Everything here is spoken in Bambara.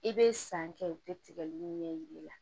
I bɛ san kɛ u tɛ tigɛli ɲɛ yir'i la